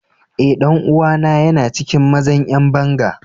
Eh, dan uwa na yana cikin mazan yan bangan.